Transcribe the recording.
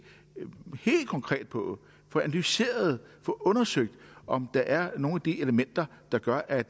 konkret på og få analyseret og undersøgt om der er nogle af de her elementer der gør at